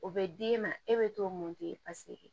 O bɛ d'e ma e bɛ t'o mun di